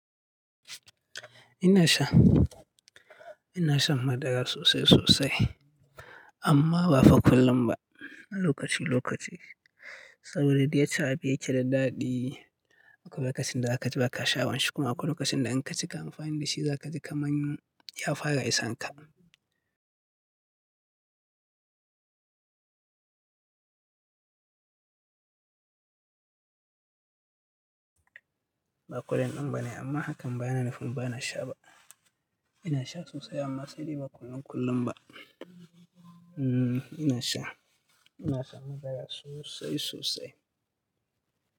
Ina sha, ina shan madara sosai sosai, amma ba fa kullum ba, lokaci lokaci saboda da yake abu yake da daɗi. Akwai lokacin da za ka ji ba ka sha'a wanshi kuma, akwai lokacin da in ka cika amfani da shi za ka ji kaman ya fara isan ka. Baƙo yanzun bane amma hakan ba yana nufin ba na sha ba. Ina sha sosai amma sai dai ba kullum kullum ba. Hmm ina sha, ina shan madara sosai sosai.